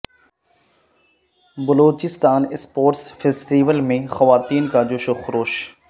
Balochistan sports festival میں خواتین کا جوش و خروش